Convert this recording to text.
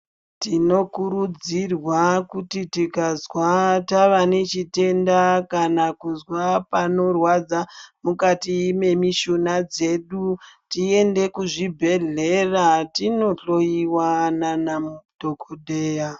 Tinokurudzirwa kuti tikazwa nechitenda kana kuzwa panorwadza mukati memishuna dzedu, tiende kuzvibhedhlera tinohloiwa nanadhogodheya.